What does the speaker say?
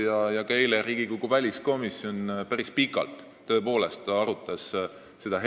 Eile arutas ka Riigikogu väliskomisjon päris pikalt olukorda Poolas.